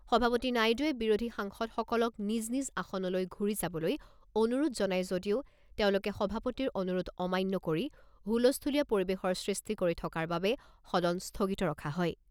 সভাপতি নাইডুৱে বিৰোধী সাংসদসকলক নিজ নিজ আসনলৈ ঘূৰি যাবলৈ অনুৰোধ জনাই যদিও তেওঁলোকে সভাপতিৰ অনুৰোধ অমান্য কৰি হুলস্থূলীয়া পৰিবেশৰ সৃষ্টি কৰি থকাৰ বাবে সদন স্থগিত ৰখা হয়।